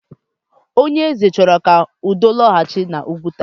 Onyeeze chọrọ ka udo lọghachi n'Ụgwuta.